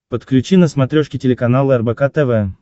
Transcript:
подключи на смотрешке телеканал рбк тв